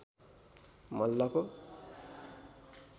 मल्लको